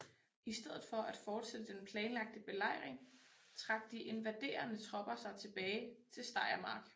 I stedet for at fortsætte den planlagte belejring trak de invaderende tropper sig tilbage til Steiermark